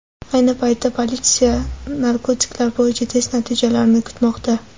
Ayni paytda politsiya narkotiklar bo‘yicha test natijalarini kutmoqda.